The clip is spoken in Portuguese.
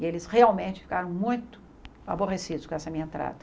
E eles realmente ficaram muito aborrecidos com essa minha entrada.